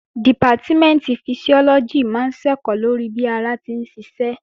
Dìpátímẹ̀ntì Fisiọ́lọ́gì máa ń ṣẹ̀kọ́ lórí bí ara ti ń ṣiṣẹ́